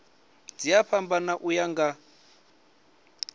dzi a fhambana uya nga